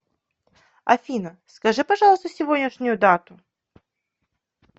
афина скажи пожалуйста сегодняшнюю дату